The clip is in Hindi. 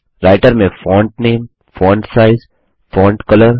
राइटर में font name font size font colour